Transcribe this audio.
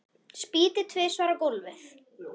Spýti tvisvar á gólfið.